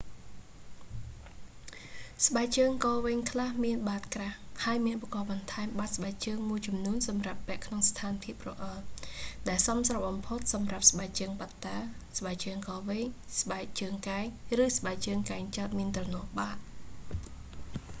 ស្បែកជើងក៏វែងខ្លះមានបាតក្រាស់ ហើយមានឧបករណ៍បន្ថែមបាតស្បែកជើងមួយចំនួនសម្រាប់ពាក់ក្នុងស្ថានភាពរអិល ដែលសមស្របបំផុតសម្រាប់ស្បែកជើងបាត់តា ស្បែងជើងកវែង ស្បែកជើងកែង ឬស្បែកជើងកែងចោទមានទ្រនាប់បាត